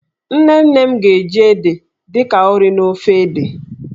Nne nne m ga-eji ede dị ka ụrị n'ofe ede.